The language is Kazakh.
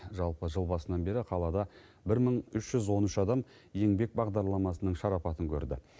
жалпы жыл басынан бері қалада бір мың үш жүз он үш адам еңбек бағдарламасының шарапатын көрді